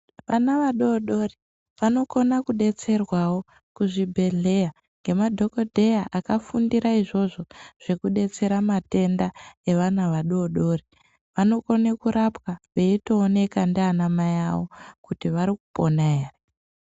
Vana vadoodori vanogona kudetserwawo kuzvibhedhlera ngemadhokodheya akafundira izvozvo zvekudetsera matenda evana vadoodori, vanogone kurwapwa veitoonekwa ndanamai avo kuti varikupona here.